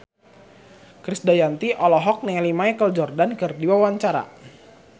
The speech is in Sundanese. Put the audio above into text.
Krisdayanti olohok ningali Michael Jordan keur diwawancara